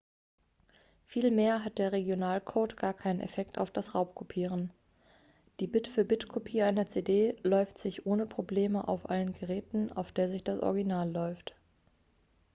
vielmehr hat der regionalcode gar keinen effekt auf das raubkopieren die bit-für-bit-kopie einer cd läuft sich ohne probleme auf allen geräten auf der sich das original läuft